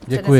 Děkuji.